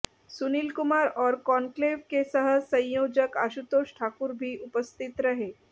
सुनील कुमार और कॉन्क्लेव के सह संयोजक आशुतोष ठाकुर भी उपस्थित रहे